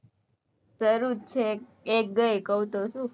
શરૂ જ છે એક ગઈ કઉ તો છુ